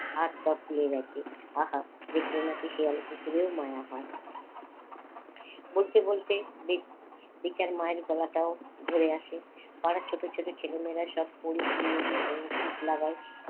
হাত পা ফুলে গেছে আহা দেখলে নাকি শেয়াল কুকুরেও মায়া হয়। বলতে বলতে দেখি মায়ের গলাটাও ধরে আসে তারা ছোট ছোট ছেলে মেয়েরা সব পরী কি মড়ি করে ছুট লাগায়